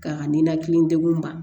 Ka ninakili degun ba